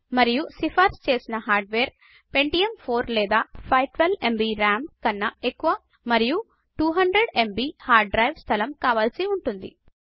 మరియు సిఫార్సు చేసి హార్డ్వేర్ పెంటియమ్ 4 లేదా 512ఎంబీ రామ్ కన్న ఎక్కువా మరియు 200ఎంబీ హార్డు డ్రైవు స్థలం కావలిసి ఉంటుంది